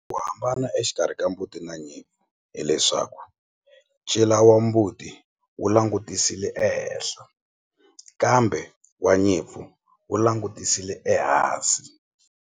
Ku hambana exikarhi ka mbuti na nyimpfu hileswaku ncila wa mbuti wu langutisile ehenhla kambe wa nyimpfu wu langutisile ehansi.